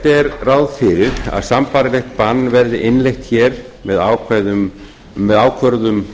er ráð fyrir að sambærilegt bann verði innleitt með